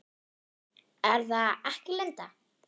Er það ekki Linda?